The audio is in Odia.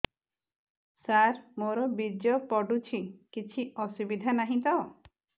ସାର ମୋର ବୀର୍ଯ୍ୟ ପଡୁଛି କିଛି ଅସୁବିଧା ନାହିଁ ତ